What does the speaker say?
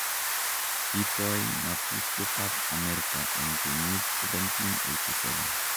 kitoi ng'atutietab Amerika eng kenyit 1787.